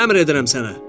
Əmr edirəm sənə.